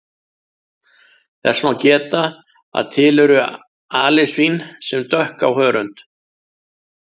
Þess má geta að til eru alisvín sem dökk á hörund.